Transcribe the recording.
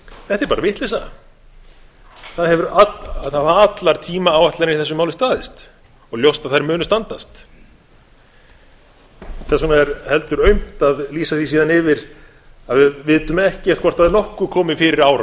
þetta er bara vitleysa það hafa allar tímaáætlanir í þessu máli staðist og ljóst að þær munu standast þess vegna er heldur aumt að lýsa því síðan yfir að við vitum ekkert hvort það verði nokkuð komið fyrir